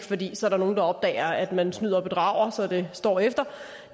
fordi der så er nogen der opdager at man snyder og bedrager så det står efter